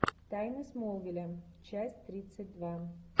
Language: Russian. тайны смолвиля часть тридцать два